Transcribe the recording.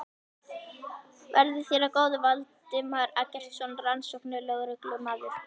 Verði þér að góðu, Valdimar Eggertsson rannsóknarlögreglumaður.